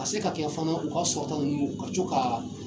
Ka se ka kɛ fana u ka sɔrɔta ninnu ka co ka